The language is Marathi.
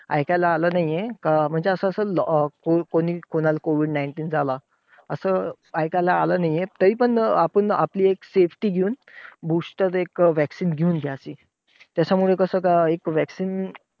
ऐकायला आलं नाहीये अं म्हणजे असं कोणी कोणाला COVID nineteen झाला असं ऐकायला आलं नाहीये. तरीपण अं आपण आपली एक safety घेऊन booster एक vaccine घेऊन घ्यावी. त्याच्यामुळे कसं एक vaccine